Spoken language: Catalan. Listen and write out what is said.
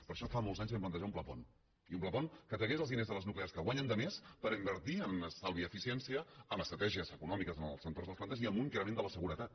per això fa molts anys vam plantejar un pla pont i un pla pont que tragués els diners de les nuclears que guanyen de més per invertir en estalvi i eficiència en estratègies econòmiques en els sectors de les plantes i amb un increment de la seguretat